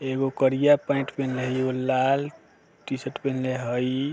एगो कारिया पाएंट पेहनले हई एगो लाल टी-शर्ट पेहनले हई।